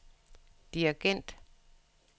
dirigent